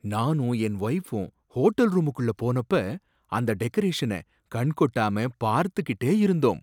நானும் என் வைஃப்பும் ஹோட்டல் ரூமுக்குள்ள போனப்ப அந்த டெக்கரேஷன கண்கொட்டாம பார்த்துகிட்டே இருந்தோம்.